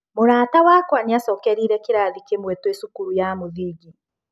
Mũrata wakwa nĩacokerire kĩrathi kĩmwe twĩ cukuru ya mũthingi.